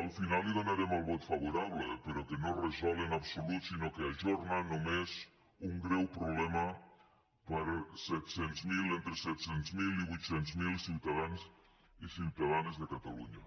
al final donarem el vot favorable però que no resol en absolut sinó que ajorna només un greu problema per a entre set cents miler i vuit cents miler ciutadans i ciutadanes de catalunya